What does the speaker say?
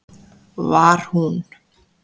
Var hún